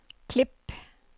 klip